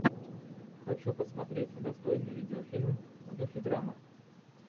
хочу посмотреть достойный видеофильм в духе драмы